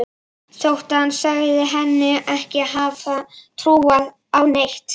Þótt sagan segði hana ekki hafa trúað á neitt.